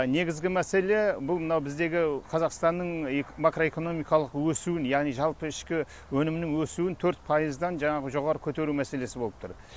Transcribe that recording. негізгі мәселе бұл мынау біздегі қазақстанның макроэкономикалық өсуін яғни жалпы ішкі өнімінің өсуін төрт пайыздан жаңағы жоғары көтеру мәселесі болып тұр